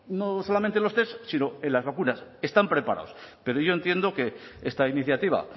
no solamente en los test sino en las vacunas están preparados pero yo entiendo que esta iniciativa